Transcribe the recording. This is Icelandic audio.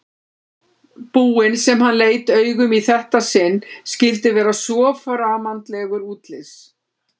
búinn sem hann leit augum í þetta sinn skyldi vera svo framandlegur útlits.